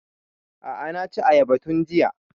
A'a na ci ayaba tun jiya